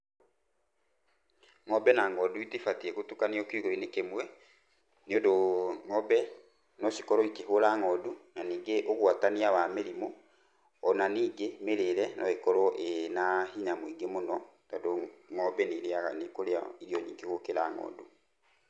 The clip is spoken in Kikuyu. Ng'ombe na ng'ondu itibatiĩ gũtukanio kiugũ-inĩ kĩmwe, nĩ ũndũ ng'ombe no cikorwo ikĩhũra ng'ondu. Na ningĩ ũgwatania wa mĩrimũ, ona ningĩ mĩrĩre no ĩkorwo ĩna hinya mũingĩ mũno tondũ ng'ombe nĩ irĩaga nĩ ĩkũrĩa irio nyingĩ gũkira ng'ondu.